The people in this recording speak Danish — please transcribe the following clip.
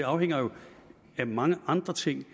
afhænger jo af mange andre ting